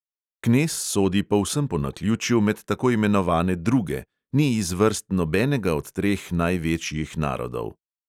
Knez sodi povsem po naključju med tako imenovane druge, ni iz vrst nobenega od treh največjih narodov.